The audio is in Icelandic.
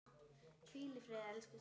Hvíl í friði, elsku systir.